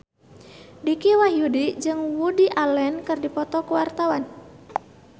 Dicky Wahyudi jeung Woody Allen keur dipoto ku wartawan